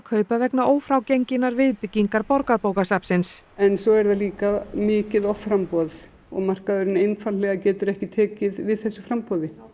kaupa vegna viðbyggingar Borgarbókasafnsins svo er það líka mikið offramboð og markaðurinn einfaldlega getur ekki tekið við þessu framboði